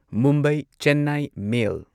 Mumbai Chennai ꯃꯦꯜ